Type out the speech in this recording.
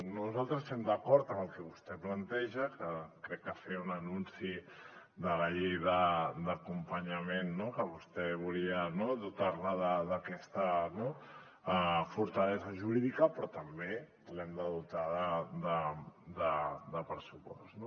nosaltres estem d’acord amb el que vostè planteja que crec que feia un anunci de la llei d’acompanyament que vostè volia dotar la d’aquesta fortalesa jurídica però també l’hem de dotar de pressupost